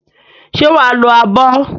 Ṣé wà á lo abọ́?